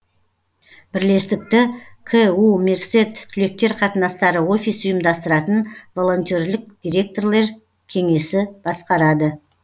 бірлестікті ку мерсед түлектер қатынастары офисі ұйымдастыратын волонтерлік директорлер кеңесі басқарады